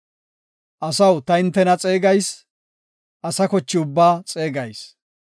Asaw, ta hintena xeegayis; asa koche ubbaa xeegayis.